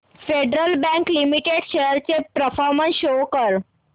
federal Bank Limited shares चा performance show कर